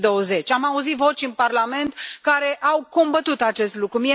2020. Am auzit voci în Parlament care au combătut acest lucru.